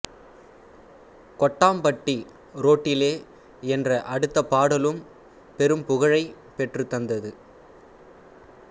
கொட்டாம்பட்டி ரோட்டிலே என்ற அடுத்த பாடலும் பெரும் புகழைப் பெற்றுத் தந்தது